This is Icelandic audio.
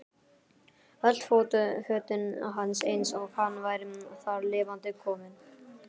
Öll fötin hans eins og hann væri þar lifandi kominn.